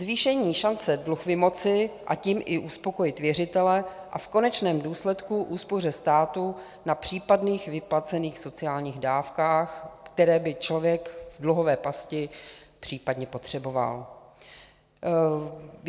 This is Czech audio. Zvýšení šance dluh vymoci a tím i uspokojit věřitele a v konečném důsledku úspoře státu na případných vyplacených sociálních dávkách, které by člověk v dluhové pasti případně potřeboval.